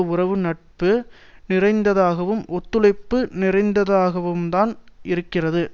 உறவு நட்பு நிறைந்ததாகவும் ஒத்துழைப்பு நிறைந்ததாகவும்தான் இருக்கிறது